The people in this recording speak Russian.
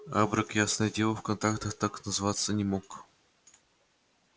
абрек ясное дело в контактах так зваться не мог